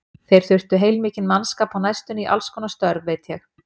Þeir þurfa heilmikinn mannskap á næstunni í allskonar störf, veit ég.